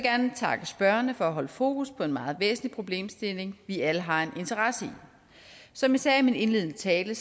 gerne takke spørgerne for at holde fokus på en meget væsentlig problemstilling vi alle har en interesse i som jeg sagde i min indledende tale